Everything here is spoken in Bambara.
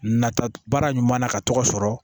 Nata baara ɲuman na ka tɔgɔ sɔrɔ